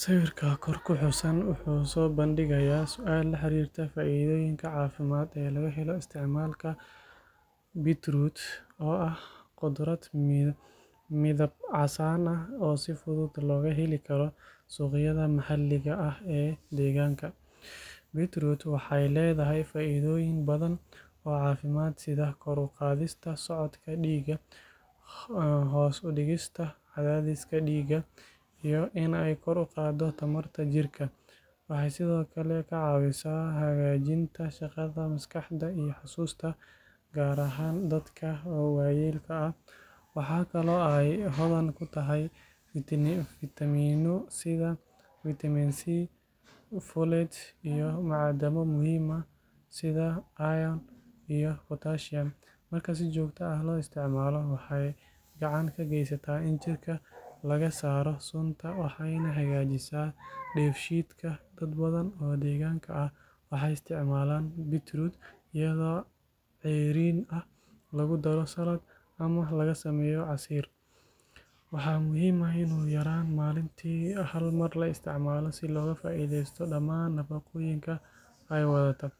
Sawirka kor ku xusan wuxuu soo bandhigayaa su’aal la xiriirta faa’iidooyinka caafimaad ee laga helo isticmaalka beetroot oo ah khudrad midab casaan ah oo si fudud looga heli karo suuqyada maxalliga ah ee deegaanka. Beetroot waxay leedahay faa’iidooyin badan oo caafimaad sida kor u qaadista socodka dhiigga, hoos u dhigista cadaadiska dhiigga, iyo in ay kor u qaaddo tamarta jirka. Waxay sidoo kale ka caawisaa hagaajinta shaqada maskaxda iyo xusuusta, gaar ahaan dadka waayeelka ah. Waxaa kaloo ay hodan ku tahay fiitamiino sida Vitamin C, folate, iyo macdano muhiim ah sida iron iyo potassium. Marka si joogto ah loo isticmaalo, waxay gacan ka geysataa in jirka laga saaro sunta waxayna hagaajisaa dheefshiidka. Dad badan oo deegaanka ah waxay isticmaalaan beetroot iyadoo ceeriin ah, lagu daro salad, ama laga sameeyo casiir. Waxaa muhiim ah in ugu yaraan maalintii hal mar la isticmaalo si looga faa’iidaysto dhamaan nafaqooyinka ay wadataa.